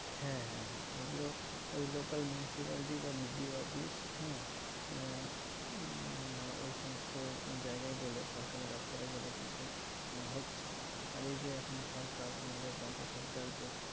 হ্যাঁ হ্যাঁ হ্যাঁ এগুলো ওই local municipality বা BPO অফিস হ্যাঁ আহ উম ওই সমস্ত জায়গায় গেলে সরকারি দপ্তরে গেলে কিন্তু হচ্ছে। আর এই যে এখন সরকার, আমাদের রাজ্য সরকারের যে